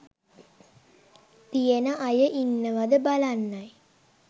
තියෙන අය ඉන්නවද බලන්නයි